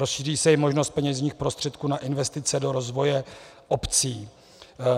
Rozšíří se i možnost peněžních prostředků na investice do rozvoje obcí.